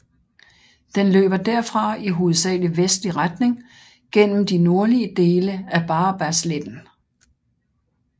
Den løber derfra i hovedsagelig vestlig retning gennem de nordlige dele af Barabasletten